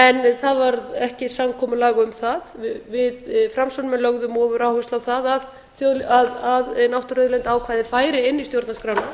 en það varð ekki samkomulag um það við framsóknarmenn lögðum ofuráherslu á það að náttúruauðlindaákvæðið færi inn í stjórnarskrána